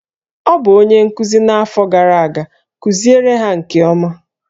Ọ bụ onye nkuzi n'afọ gara aga, kuziere ha nke ọma!